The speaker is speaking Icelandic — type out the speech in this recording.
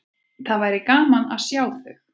Það væri gaman að sjá þau.